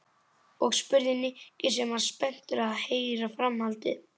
Og? spurði Nikki sem var spenntur að heyra framhaldið.